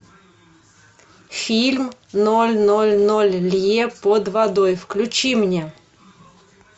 фильм ноль ноль ноль лье под водой включи мне